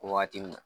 Wagati min na